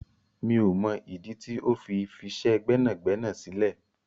Mio mọ ìdí tí ó fi fisẹ gbẹ́nàgbẹ́nà sílẹ̀.